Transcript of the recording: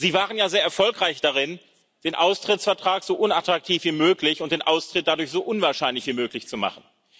Sie waren ja sehr erfolgreich darin, den Austrittsvertrag so unattraktiv wie möglich und den Austritt dadurch so unwahrscheinlich wie möglich zu machen.